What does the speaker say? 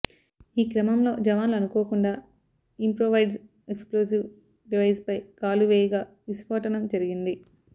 ఈ క్రమంలో జవాన్లు అనుకోకుండా ఇంప్రొవైజ్డ్ ఎక్స్ప్లోజివ్ డివైస్ పై కాలువేయగా విస్ఫోటనం జరిగింది